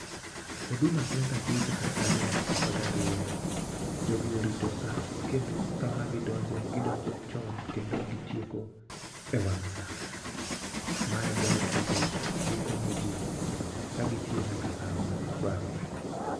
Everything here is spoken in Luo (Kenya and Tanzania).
huduma center tiyo chakre saa ariyo nyaka saa apar gi ariyo. Jogi orito saa kendo sama gidonje , gidonjo chon kendo gitieko e wang' saa. Ma e ber kendo gikonyo jii ka gitiyo nyaka sama dwarore.